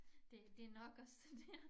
Det det nok også det dér